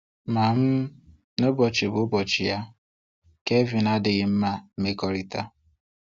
Ma um n'ụbọchị bụ ụbọchị ya, Kevin adịghị gị mma mmekọrịta.